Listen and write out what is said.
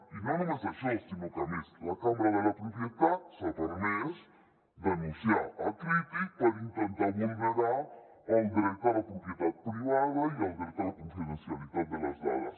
i no només això sinó que a més la cambra de la propietat s’ha permès denunciar crític per intentar vulnerar el dret a la propietat privada i el dret a la confidencia litat de les dades